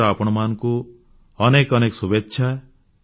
ମୋର ଆପଣମାନଙ୍କୁ ଅନେକ ଅନେକ ଶୁଭେଚ୍ଛା